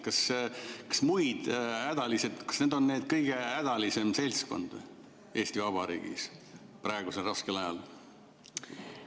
Kas need moodustavad selle kõige hädalisema seltskonna Eesti Vabariigis praegusel raskel ajal?